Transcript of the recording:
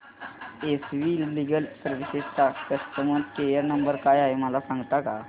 S V legal services चा customer care number काय आहे मला सांगता का